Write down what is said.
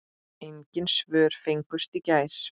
Engin svör fengust í gær.